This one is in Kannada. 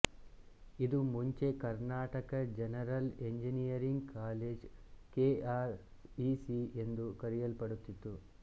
ಇದು ಮುಂಚೆ Karnataka regional engineering college K R E C ಎಂದು ಕರೆಯಲ್ಪಡುತ್ತಿತ್ತು